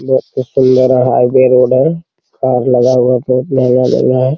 बहुत ही सुंदर है हाईवे रोड है कार लगा हुआ है बहुत महँगा जगह है।